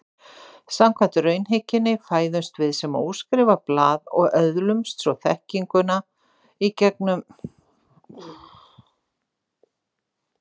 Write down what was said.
Samkvæmt raunhyggjunni fæðumst við sem óskrifað blað og öðlumst svo þekkingu gegnum skynreynsluna.